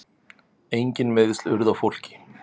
Engin meiðsl urðu á fólki.